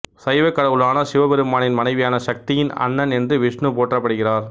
சைவக்கடவுளான சிவபெருமானின் மனைவியான சக்தியின் அண்ணன் என்று விச்ணு போற்றப்படுகிறார்